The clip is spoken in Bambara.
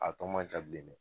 A tɔ man ca bilen dɛ